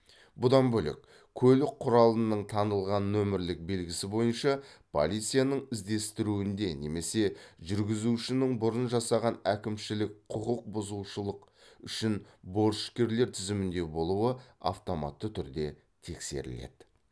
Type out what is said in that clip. бұдан бөлек көлік құралының танылған нөмірлік белгісі бойынша полицияның іздестіруінде немесе жүргізушінің бұрын жасаған әкімшілік құқық бұзушылық үшін борышкерлер тізімінде болуы автоматты түрде тексеріледі